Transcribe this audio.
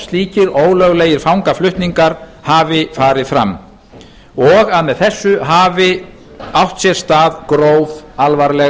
slíkir ólöglegir fangaflutningar hafi farið fram og að með þessu hafi átt sér stað gróf alvarleg